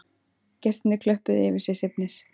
Gestirnir klöppuðu yfir sig hrifnir